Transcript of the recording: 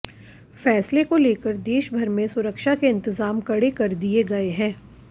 फैसले को लेकर देशभर में सुरक्षा के इंतजाम कड़े कर दिए गए हैं